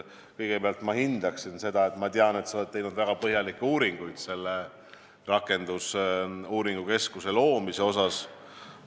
Kõigepealt ma hindan seda, et sa oled teinud väga põhjalikke uuringuid rakendusuuringute keskuse loomise asjus.